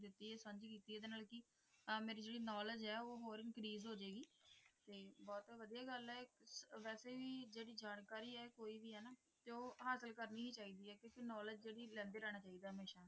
ਐ ਮੇਰੀ ਜਿਹੜੀ ਨੌਲਿਜ ਹੈ ਉਹ ਹੋਰ ਇਨਕਰੀਜ਼ ਹੋ ਜਾਏਗੀ ਤੇ ਬਹੁਤ ਵਧੀਆ ਗੱਲ ਹੈ ਕਿ ਵੈਸੇ ਵੀ ਕੋਈ ਵੀ ਜਾਣਕਾਰੀ ਐਲਾਨ ਉਹ ਹਾਸਲ ਕਰਨੀ ਹੀ ਚਾਹੀਦੀ ਹੈ ਖਨੌਰੀ ਜੈਂਦੇ ਲੈਣਾ ਚਾਹੀਦੈ